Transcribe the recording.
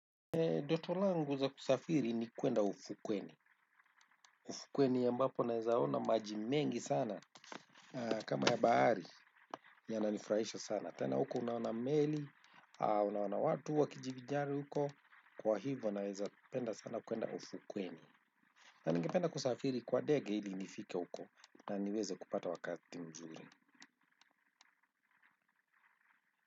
Ndoto langu la kusafiri ni kwenda ufukweni. Ufukweni ambapo naeza ona maji mengi sana kama ya bahari yananifurahisha sana. Tena huko naona meli, unawana watu wakijivinjari huko, kwa hivo naezapenda sana kwenda ufukweni. Na ningependa kusafiri kwa dege ili nifike, huko na niweze kupata wakati mzuri.